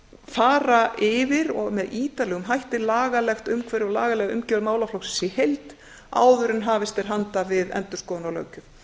fara yfir og með ítarlegum hætti lagalegt umhverfi og lagalega umgjörð málaflokksins í heild áður en hafist er handa við endurskoðun á löggjöf